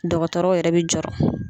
Dɔgɔtɔrɔw yɛrɛ be jɔrɔ.